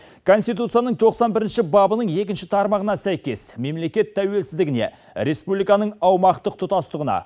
конституцияның тоқсан бірінші бабының екінші тармағына сәйкес мемлекет тәуелсіздігіне республиканың аумақтық тұтастығына